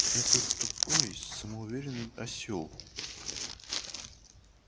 этот тупой самоуверенный осёл